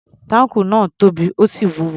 Táǹkù náà tóbi, ó sì wúwo.